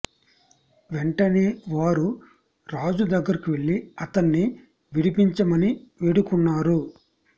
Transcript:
వెంటనే వారు రాజు దగ్గరకు వెళ్లి అతణ్ణి విడిపించమని వేడుకు న్నారు